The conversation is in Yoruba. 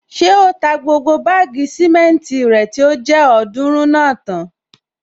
Ṣé o ta gbogbo báàgì sìmẹ́ntì rẹ tó jẹ́ ọ̀ọ́dúrún náà tán?